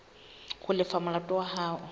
ho lefa molato wa hao